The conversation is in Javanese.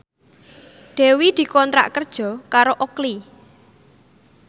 Dewi dikontrak kerja karo Oakley